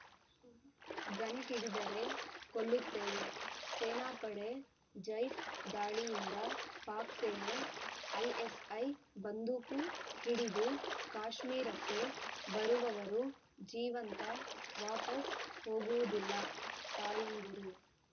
gun ಹಿಡಿದರೆ ಕೊಲ್ಲುತ್ತೇವೆ ಸೇನಾಪಡೆ ಜೈಷ್‌ ದಾಳಿ ಹಿಂದೆ ಪಾಕ್‌ ಸೇನೆ ಐಎಸ್‌ಐ ಬಂದೂಕು ಹಿಡಿದು ಕಾಶ್ಮೀರಕ್ಕೆ ಬರುವವರು ಜೀವಂತ ವಾಪಸ್‌ ಹೋಗುವುದಿಲ್ಲ ತಾಯಂದಿರು